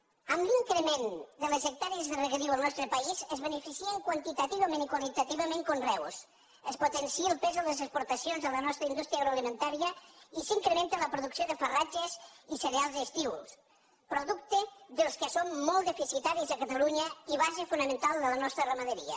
amb l’increment de les hectàrees de regadiu al nostre país es beneficien quantitativament i qualitativament conreus es potencia el pes de les exportacions a la nostra indústria agroalimentària i s’incrementa la producció de farratges i cereals d’estiu productes dels quals som molt deficitaris a catalunya i base fonamental de la nostra ramaderia